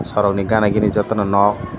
sorok ni gana gini joto no nog.